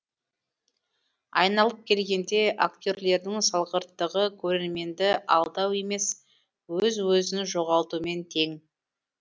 айналып келгенде актерлердің салғырттығы көрерменді алдау емес өз өзін жоғалтумен тең